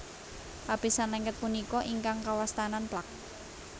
Lapisan lengket punika ingkang kawastanan plak